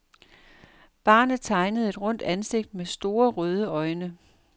Barnet tegnede et rundt ansigt med store røde øjne.